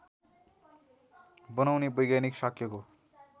बनाउने वैज्ञानिक शाक्यको